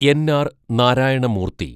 N R Narayana Murthy